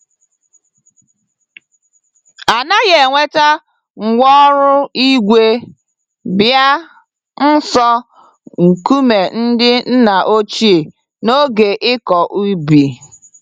Anaghị eweta ngwá ọrụ ígwè bịa nso nkume ndị nna ochie n'oge ịkọ ubi.